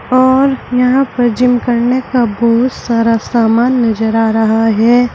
और यहां पर जिम करने का बहुत सारा सामान नजर आ रहा है।